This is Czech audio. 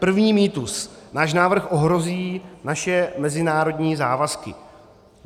První mýtus: náš návrh ohrozí naše mezinárodní závazky.